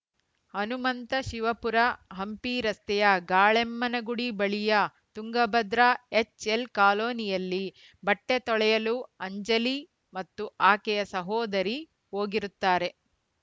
ಹನುಮಂತ ಶಿವಪುರ ಹಂಪಿ ರಸ್ತೆಯ ಗಾಳೆಮ್ಮನಗುಡಿ ಬಳಿಯ Tungabhadra HL colony ಯಲ್ಲಿ ಬಟ್ಟೆತೊಳೆಯಲು ಅಂಜಲಿ ಮತ್ತು ಆಕೆಯ ಸಹೋದರಿ ಹೋಗಿರುತ್ತಾರೆ